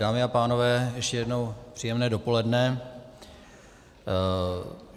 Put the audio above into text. Dámy a pánové, ještě jednou příjemné dopoledne.